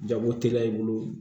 Jago teliya i bolo